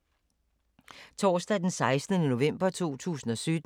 Torsdag d. 16. november 2017